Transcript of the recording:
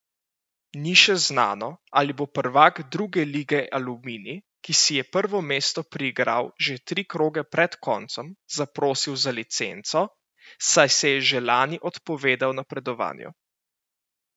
Ni še znano, ali bo prvak druge lige Aluminij, ki si je prvo mesto priigral že tri kroge pred koncem, zaprosil za licenco, saj se je že lani odpovedal napredovanju.